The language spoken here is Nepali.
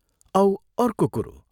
औ अर्को कुरो।